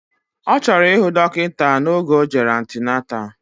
Ọchọrọ ihu dokita na oge ojere antenatal.